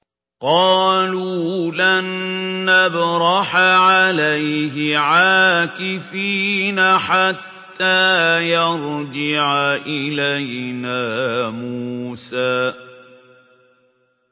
قَالُوا لَن نَّبْرَحَ عَلَيْهِ عَاكِفِينَ حَتَّىٰ يَرْجِعَ إِلَيْنَا مُوسَىٰ